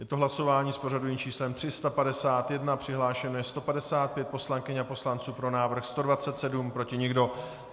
Je to hlasování s pořadovým číslem 351, přihlášeno je 155 poslankyň a poslanců, pro návrh 127, proti nikdo.